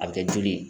A bɛ kɛ joli ye